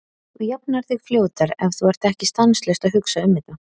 Þú jafnar þig fljótar ef þú ert ekki stanslaust að hugsa um þetta.